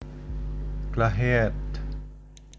Glahe ed